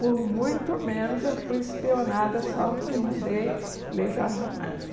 Por muito menos eu fui espionada só porque mandei ler Jorge Amado.